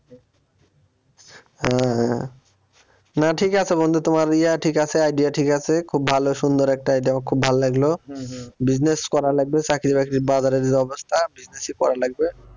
হ্যাঁ হ্যাঁ না ঠিক আছে বন্ধু তোমার ইয়া ঠিক আছে idea ঠিক আছে খুব ভালো সুন্দর একটা idea আমার খুব ভাল লাগলো business করা লাগবে চাকরি বাকরির বাজারের যা অবস্থা business ই করা লাগবে।